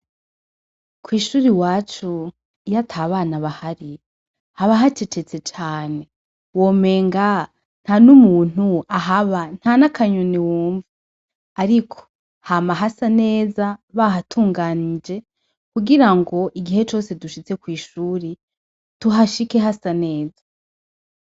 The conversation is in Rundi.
Kw'ishure iwacu iyo atabana bahari, haba hacecetse cane womenga nta n'umuntu ahaba ,ntana Kanyoni wumva, ariko hama hasa neza bahatunganije kugira ngo igihe cose dushitse kw'ishure tuhashike hasa neza.